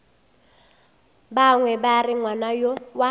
bangwe ba re ngwana wa